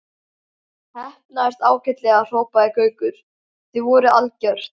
Heppnaðist ágætlega hrópaði Gaukur, þið voruð algjört.